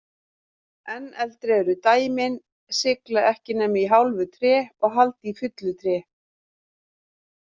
Enn eldri eru dæmin sigla ekki nema í hálfu tré og halda í fullu tré.